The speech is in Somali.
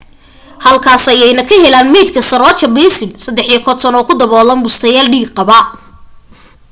halkaas ayayna ka heleen maydka saroja balasubramanian 53 oo ku daboolan bustayaal dhiig-qaba